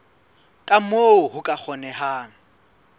ka moo ho ka kgonehang